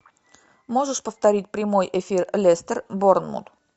можешь повторить прямой эфир лестер борнмут